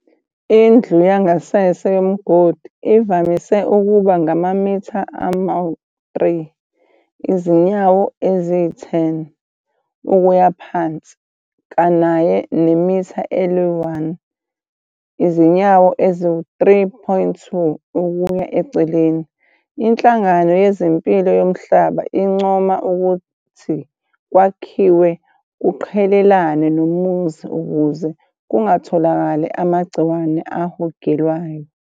Indlu yangasese yomgodi ivamise ukuba ngamamitha ama-3, izinyawo ezi-10, ukuya phansi kanaye nemitha eli-1, izinyawo ezi-3.2, ukuya eceleni. INhlangano yezempilo yomhlaba incoma ukuthi kwakhiwe kuqhelelane nomuzi ukuze kungatholakali amagciwane ahogelwayo.